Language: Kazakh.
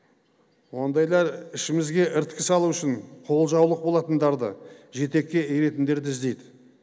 ондайлар ішімізге іріткі салу үшін қолжаулық болатындарды жетекке еретіндерді іздейді